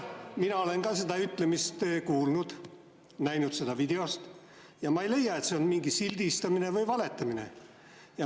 Mina olen ka seda ütlemist kuulnud, näinud seda videost ja ma ei leia, et see on mingi sildistamine või valetamine.